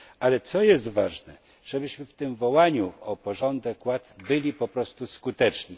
Ale ważne, żebyśmy w tym wołaniu o porządek i ład byli po prostu skuteczni.